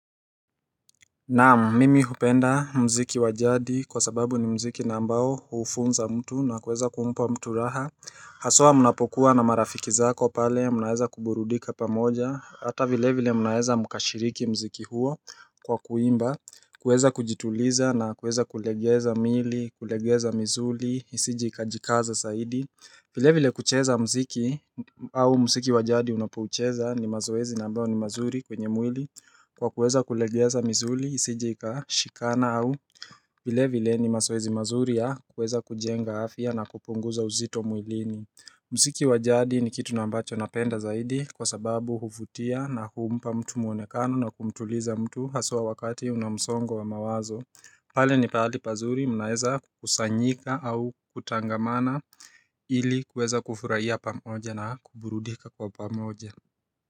Naamu, mimi hupenda mziki wajadi kwa sababu ni mziki na ambao hufunza mtu na kuweza kumpa mtu raha Hasoa munapokuwa na marafiki zako pale, munaeza kuburudika pamoja Hata vile vile munaeza mkashiriki mziki huo kwa kuimba kuweza kujituliza na kuweza kulegeza mili, kulegeza mizuli, isije ikajikaza saidi vile vile kucheza mziki au mziki wajadi unapuucheza ni mazoezi na ambao ni mazuri kwenye mwili Kwa kuweza kulegeza mzuli, isijika, shikana au vile vile ni maswezi mazuria kuweza kujenga afia na kupunguza uzito muilini Mziki wajadi ni kitu nambacho napenda zaidi kwa sababu huvutia na humpa mtu muonekano na kumtuliza mtu hasua wakati unamsongo wa mawazo pale ni pahali pazuri mnaeza kusanyika au kutangamana ili kuweza kufuraia pamoja na kuburudika kwa pamoja.